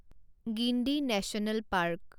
Guindy national park